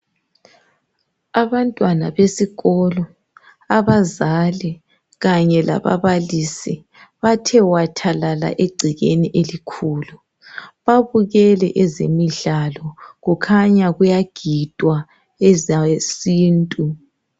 Abantwana besikolo, abazali kanye lababalisi bathe wathalala egcekeni elikhulu babukele ezemidlalo kukhanya kuyagidwa ezesintu.